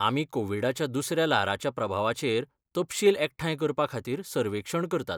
आमी कोविडाच्या दुसऱ्या ल्हाराच्या प्रभावाचेर तपशील एकठांय करपाखातीर सर्वेक्षण करतात.